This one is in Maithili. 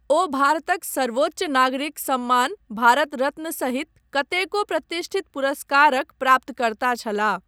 ओ भारतक सर्वोच्च नागरिक सम्मान भारत रत्न सहित कतेको प्रतिष्ठित पुरस्कारक प्राप्तकर्ता छलाह।